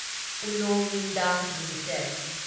ꯎꯅꯣ ꯃꯤꯟꯗ ꯂꯤꯃꯤꯇꯦꯗ